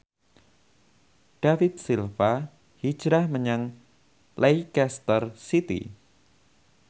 David Silva hijrah menyang Leicester City